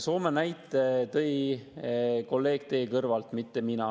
Soome näite tõi kolleeg teie kõrvalt, mitte mina.